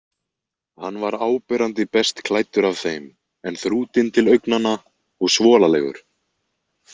Hann var áberandi best klæddur af þeim en þrútinn til augnanna og svolalegur.